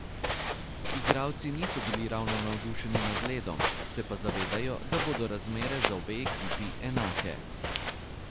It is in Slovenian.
Igralci niso bili ravno navdušeni nad ledom, se pa zavedajo, da bodo razmere za obe ekipi enake.